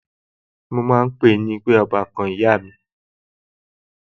Mo máa ń pe ń pe ọbàkan ìyá mi